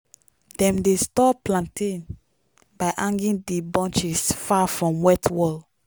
dem dey store plantain by hanging the bunches far from wet wall.